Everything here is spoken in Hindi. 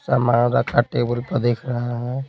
सामान रखा टेबल पर दिख रहा है।